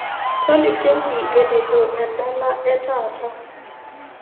Tolikioki enejo edala e taata